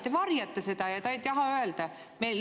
Te varjate seda ja te ei taha öelda.